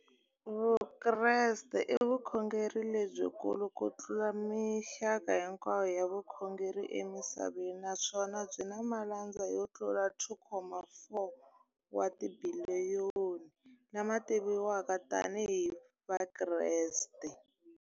Vukreste i vukhongeri lebyi kulu kutlula mixaka hinkwayo ya vukhongeri emisaveni, naswona byi na malandza yo tlula 2.4 wa tibiliyoni, la ma tiviwaka tani hi Vakreste.